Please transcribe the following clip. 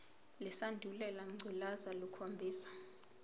lesandulela ngculazi lukhombisa